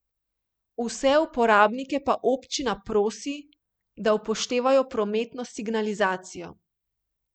Vse uporabnike pa občina prosi, da upoštevajo prometno signalizacijo.